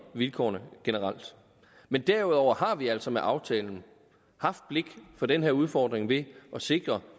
vilkårene generelt men derudover har vi altså med aftalen haft blik for den her udfordring ved at sikre